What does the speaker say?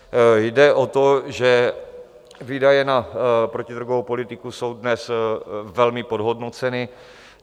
Jde o to, že výdaje na protidrogovou politiku jsou dnes velmi podhodnoceny.